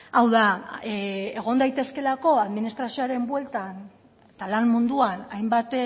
hau da egon daitezkeelako administrazioaren bueltan eta lan munduan hainbat